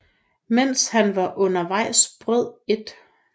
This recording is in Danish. Mens han var undervejs brød 1